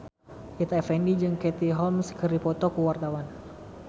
Rita Effendy jeung Katie Holmes keur dipoto ku wartawan